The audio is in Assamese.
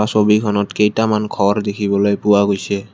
ছবিখনত কেইটামান ঘৰ দেখিবলৈ পোৱা গৈছে।